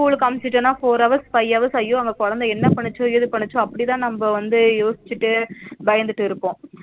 School க்கு அனுபிச்சுட்டுனா four hours, five hours ஐயயோ அங்க குழந்தை என்ன பண்ணுசோ ஏது பண்ணுசோ அப்டிதா நம்ம வந்து யோசிச்சுட்டு பயந்துட்டு இருப்போம்